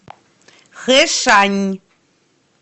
хэшань